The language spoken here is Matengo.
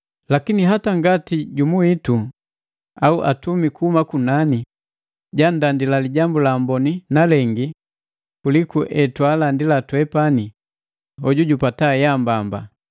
Lakini, hata ngati jumu witu au atumi kuhuma kunani, jandandila Lijambu la Amboni na lengi kuliku etwaalandi twepani, hoju jupata yaambamba!